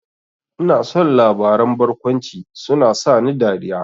Ina son labaran barkwanci, suna sani dariya